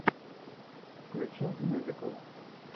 включи мюзикл